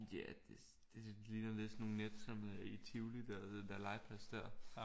Ja det ligner lidt sådan nogle net som i Tivoli der den der legeplads der